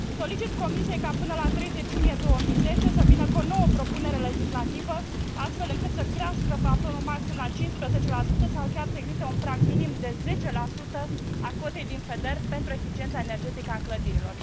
Solicit Comisiei ca, până la 30 iunie 2010, să vină cu o nouă propunere legislativă astfel încât să crească plafonul maxim la 15 sau chiar să existe un prag minim de 10 a cotei din FEDER pentru eficiența energetică a clădirilor.